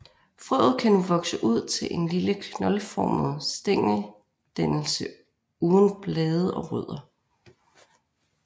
Frøet kan nu vokse ud til en lille knoldformet stængeldannelse uden blade og rødder